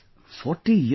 40 years